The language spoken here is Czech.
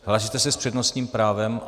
Hlásíte se s přednostním právem?